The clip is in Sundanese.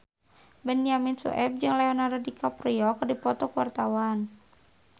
Benyamin Sueb jeung Leonardo DiCaprio keur dipoto ku wartawan